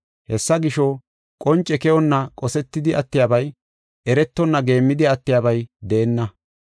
“Hessa gisho, qonce keyonna qosetidi attiyabay, eretonna geemmidi attiyabay deenna.